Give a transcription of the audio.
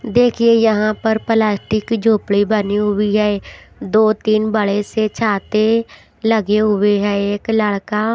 देखिए यहां पर पलास्टिक की झोपड़ी बनी हुई है दो तीन बड़े से छाते लगे हुए हैं एक लड़का--